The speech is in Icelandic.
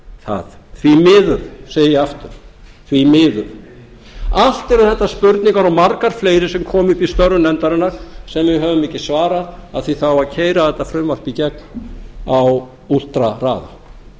það því miður segi ég aftur því miður allt eru þetta spurningar og margar fleiri sem komu upp í störfum nefndarinnar sem við höfum ekki svarað af því það á að keyra þetta frumvarp í gegn á últrahraða